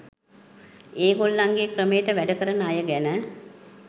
ඒගොල්ලන්ගේ ක්‍රමයට වැඩ කරන අය ගැන